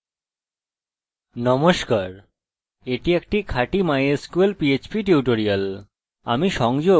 নমস্কার এটি একটি খাঁটি mysql php টিউটোরিয়াল